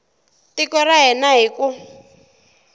tiko ra hina hi ku